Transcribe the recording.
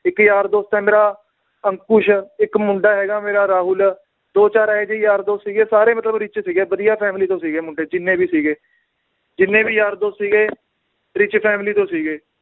ਇੱਕ ਯਾਰ ਦੋਸਤ ਏ ਮੇਰਾ, ਅੰਕੁਸ਼, ਇੱਕ ਮੁੰਡਾ ਹੈਗਾ ਮੇਰਾ ਰਾਹੁਲ, ਦੋ ਚਾਰ ਇਹੋ ਜਿਹੇ ਯਾਰ ਦੋਸਤ ਸੀਗੇ ਸਾਰੇ ਮਤਲਬ rich ਸੀਗੇ ਵਧੀਆ family ਤੋਂ ਸੀਗੇ ਮੁੰਡੇ ਜਿੰਨੇ ਵੀ ਸੀਗੇ ਜਿੰਨੇ ਵੀ ਯਾਰ ਦੋਸਤ ਸੀਗੇ rich family ਤੋਂ ਸੀਗੇ